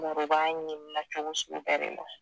mɔgɔb'a ɲinina cogo sugu bɛɛ ma